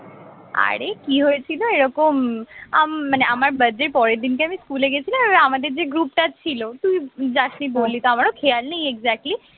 আরে কি হয়েছিল এরকম আম মানে আমার birthday র পরের দিনকে আমি স্কুলে গেছিলাম এবার আমাদের যে group টা ছিল তুই যাসনি বললি তো আমারও খেয়াল নেই exactly